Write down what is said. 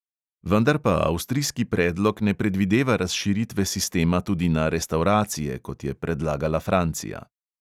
Vendar pa avstrijski predlog ne predvideva razširitve sistema tudi na restavracije, kot je predlagala francija.